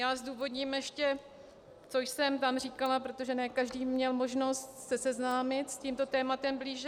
Já zdůvodním ještě, co jsem tam říkala, protože ne každý měl možnost se seznámit s tímto tématem blíže.